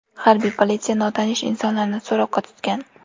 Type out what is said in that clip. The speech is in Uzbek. Harbiy politsiya notanish insonlarni so‘roqqa tutgan.